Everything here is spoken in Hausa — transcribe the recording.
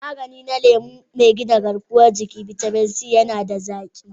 Magani na lemu, mai gina garkuwan jiki/bitamin C, yana da zaki.